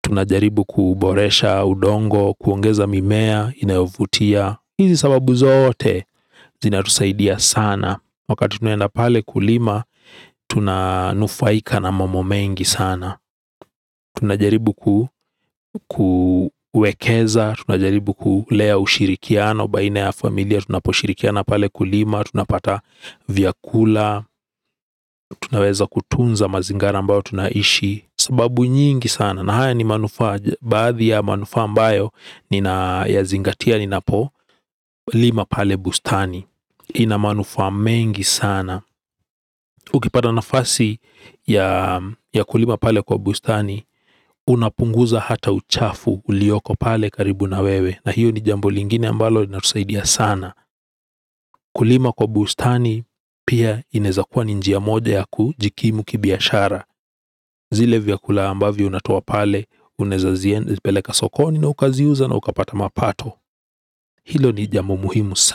tunajaribu kuboresha udongo, kuongeza mimea inayovutia, hizi sababu zote zinatusaidia sana wakati tunaenda pale kulima tunanufaika na mambo mengi sana tunajaribu ku Kuwekeza Tunajaribu kulea ushirikiano baina ya familia tunaposhirikiana pale kulima tunapata vyakula. Tunaweza kutunza mazingira ambayo Tunaishi. Sababu nyingi sana na haya ni manufa. Baadhi ya manufa ambayo ninayazingatia ninapo lima pale bustani. Ina manufa mengi sana. Ukipata nafasi ya kulima pale kwa bustani. Unapunguza hata uchafu ulioko pale karibu na wewe. Na hiyo ni jambo lingine ambalo iinatusaidia sana. Kulima kwa bustani. Pia inaeza kuwa ni njia moja ya kujikimu kibiashara. Zile vyakula ambavyo unatoa pale unaeza ziendi peleka sokoni. Na ukaziuza na ukapata mapato. Hilo ni jambu muhimu sana.